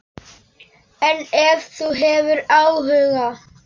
En ef þú hefur áhuga.